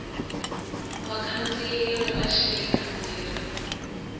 vakhandziyi ri va xele kambirhi